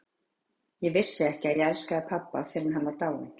Ég vissi ekki að ég elskaði pabba fyrr en hann var dáinn.